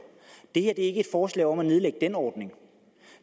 er ikke et forslag om at nedlægge den ordning